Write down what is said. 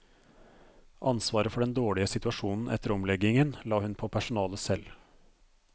Ansvaret for den dårlige situasjonen etter omleggingen la hun på personalet selv.